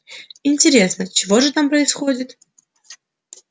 интересно чего же там происходит